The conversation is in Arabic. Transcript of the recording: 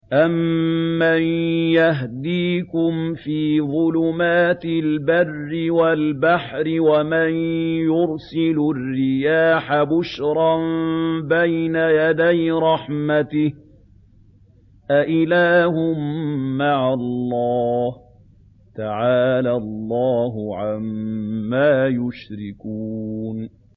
أَمَّن يَهْدِيكُمْ فِي ظُلُمَاتِ الْبَرِّ وَالْبَحْرِ وَمَن يُرْسِلُ الرِّيَاحَ بُشْرًا بَيْنَ يَدَيْ رَحْمَتِهِ ۗ أَإِلَٰهٌ مَّعَ اللَّهِ ۚ تَعَالَى اللَّهُ عَمَّا يُشْرِكُونَ